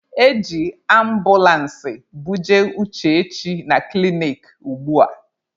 E ji ambụlansị buje Uchechi na klinik ugbua.